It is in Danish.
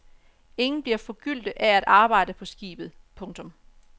Ingen bliver forgyldte af at arbejde på skibet. punktum